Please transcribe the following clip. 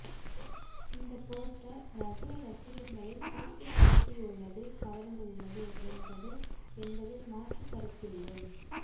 இந்த போஸ்டர் ரஜினி ரசிகர்களை திருப்திபடுத்தியுள்ளது கவர்ந்துள்ளது என்பது என்பதில் மாற்றுக்கருத்தில்லை